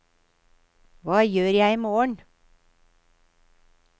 hva gjør jeg imorgen